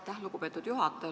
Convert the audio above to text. Aitäh, lugupeetud juhataja!